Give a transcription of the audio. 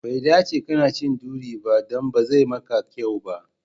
Bai dace kana cin duri ba, dan bazai maka kyau ba.